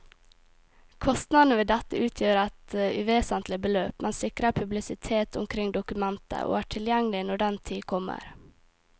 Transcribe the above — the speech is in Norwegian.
Kostnadene ved dette utgjør et uvesentlig beløp, men sikrer publisitet omkring dokumentet og er tilgjengelig når den tid kommer.